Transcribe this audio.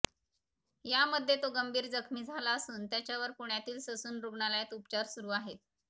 यामध्ये तो गंभीर जखमी झाला असून त्याच्यावर पुण्यातील ससून रुग्णालयात उपचार सुरू आहेत